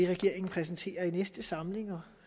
regeringen præsenterer i næste samling